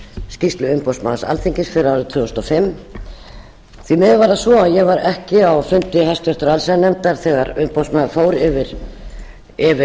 skýrslu umboðsmanns alþingis fyrir árið tvö þúsund og fimm því miður var það svo að ég var ekki á fundi háttvirtrar allsherjarnefndar þegar umboðsmaður fór yfir